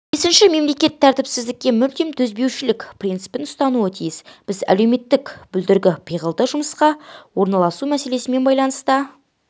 бесінші мемлекет тәртіпсіздікке мүлдем төзбеушілік принципін ұстануға тиіс біз әлеуметтік бүлдіргі пиғылды жұмысқа орналасу мәселесімен байланыста